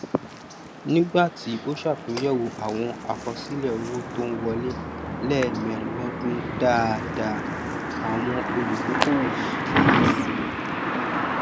nígbàtí ó sàtúnyẹwò àwọn àkọsílẹ owó tó ń wọlé lẹẹmẹrin lọdún dáadá àwọn olùdókòwò kíyè sí